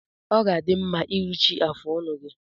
Ọ ga-adị mma iruchi afụ ọnụ gi